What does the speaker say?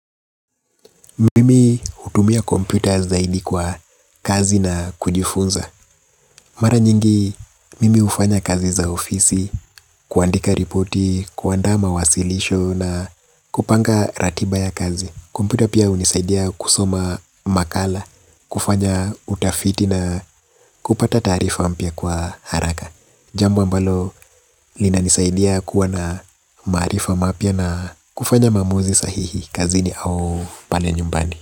Mimi hutumia kompyuta zaidi kwa kazi na kujifunza. Mara nyingi mimi hufanya kazi za ofisi kwandika ripoti, kuanda mawasilisho na kupanga ratiba ya kazi. Kompyuta pia hunisaidia kusoma makala kufanya utafiti na kupata taarifa mpya kwa haraka jambo ambalo linanisaidia kuwa na maarifa mapya na kufanya maamuzi sahihi kazini au pale nyumbani.